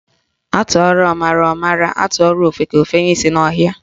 Atụọrọ ọmara, ọ mara, atụọrọ ofeke, ofenye isi n'ọhịa